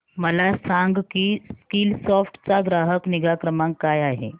मला सांग की स्कीलसॉफ्ट चा ग्राहक निगा क्रमांक काय आहे